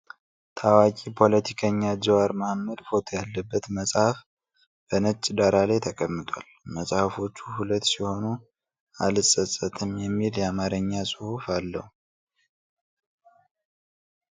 ታዋቂ ፖለቲከኛ ጅዋር መሐመድ ፎቶ ያለበት መጽሐፍ በነጭ ዳራ ላይ ተቀምጧል መጽሀፎቹ ሁለት ሲሆኑ አልጸጸትም የሚል የአማርኛ ጹሁፍ አለው ።